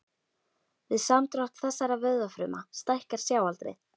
Við samdrátt þessara vöðvafruma stækkar sjáaldrið.